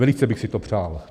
Velice bych si to přál.